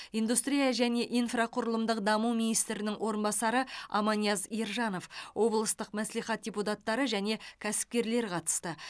индустрия және инфрақұрылымдық даму министрінің орынбасары аманияз ержанов облыстық мәслихат депутаттары және кәсіпкерлер қатысты